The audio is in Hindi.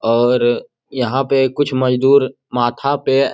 और यहाँ पे कुछ मजदुर माथा पे --